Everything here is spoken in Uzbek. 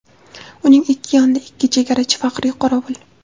Uning ikki yonida ikki chegarachi faxriy qorovul.